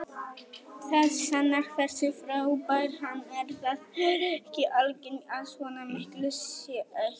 Það sannar hversu frábær hann er, það er ekki algengt að svona miklu sé eytt.